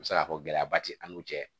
U bɛ se k'a fɔ gɛlɛyaba ti an'u cɛ